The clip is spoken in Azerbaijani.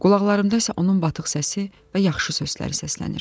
Qulaqlarımda isə onun batıq səsi və yaxşı sözləri səslənir.